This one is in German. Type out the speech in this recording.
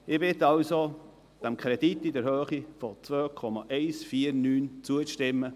Ich bitte Sie also, diesem Kredit in der Höhe von 2,149 Mio. Franken zuzustimmen.